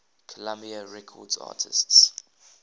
columbia records artists